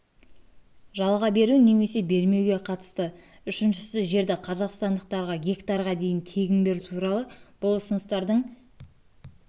жалға беру немесе бермеуге қатысты үшіншісі жерді қазақстандықтарға гектарға дейін тегін беру туралы бұл ұсыныстардың